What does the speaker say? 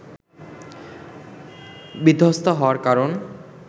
বিধ্বস্ত হওয়ার কারণ